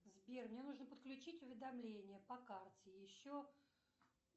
сбер мне нужно подключить уведомления по карте еще